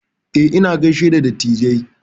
Eh, ina gishe da dattijai.